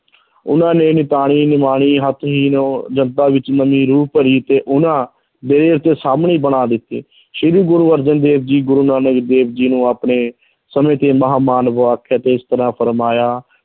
ਉਹਨਾਂ ਨੇ ਨਿਤਾਣੀ ਨਿਮਾਣੀ ਜਨਤਾ ਵਿੱਚ ਨਵੀਂ ਰੂਹ ਭਰੀ, ਤੇ ਉਹਨਾਂ ਬਣਾ ਦਿੱਤੇ ਸ੍ਰੀ ਗੁਰੂ ਅਰਜਨ ਦੇਵ ਜੀ ਗੁਰੂ ਨਾਨਕ ਦੇਵ ਜੀ ਨੂੰ ਆਪਣੇ ਸਮੇਂ ਤੇ ਮਹਾਂਮਾਨਵ ਆਖਿਆ ਤੇ ਇਸ ਤਰ੍ਹਾਂ ਫੁਰਮਾਇਆ